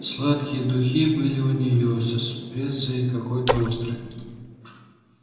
сладкие духи были у нее со специей какой-то острой